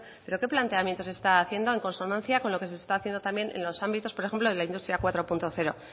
pero qué planteamiento se está haciendo en consonancia con lo que se está haciendo también en los ámbitos por ejemplo de la industria cuatro punto cero